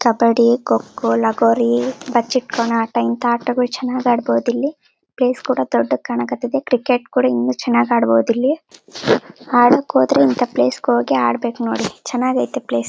ಕಬ್ಬಡ್ಡಿ ಕೊಕೊ ಲಗೋರಿ ಬಚ್ಚಿಟ್ಕೊಂಡ್ ಆಟ ಇಂತ ಆಟ ಚೆನ್ನಾಗ್ ಆಡಬಹುದ್ ಇಲ್ಲಿ. ಪ್ಲೇಸ್ ಕೂಡ ದೊಡ್ಡಕ್ ಕಣಕ್ ಹತೈತಿ ಕ್ರಿಕೆಟ್ ಕೂಡ ಇನ್ನು ಚೆನ್ನಾಗ್ ಆಡ್ಬಹುದು ಇಲ್ಲಿ. ಅಡಕ್ಕೆ ಹೋದ್ರೆ ಇಂತ ಪ್ಲೇಸ್ ಗೆ ಹೋಗಿ ಆಡ್ಬೇಕು ನೋಡಿ ಚೆನ್ನಾಗೈತೆ ಪ್ಲೇಸ್ .